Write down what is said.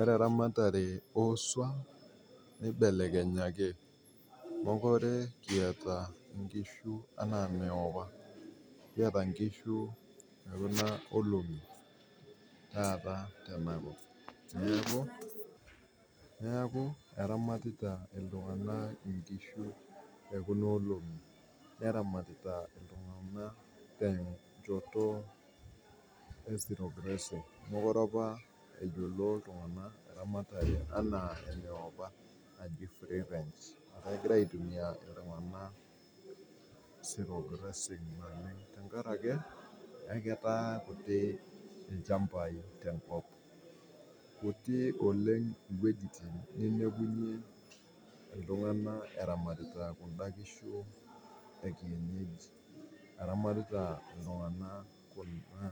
Ore ramatare oosuom neibelekenyaki, mekore kieta nkishu anaa apa noapa, kieta nkishu to kuna olong'i taata tena kop, naaku eramatita oltungana inkishu te kuna olong'i neramatiota ltungana te nchotoe zero grazing, melore apa eyiolo iltungana ramatare enaa enoap najii free range egira aitumiya iltungana zero grazing tengaraki eketaa kutii ilchambaii te nkop. Metii oleng wejitin nemekunyii ltungana eramatita kunda kishu ekienyeji, eramatita ltungana kuna